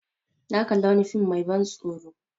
Na kalli wani fm mai ban tsoro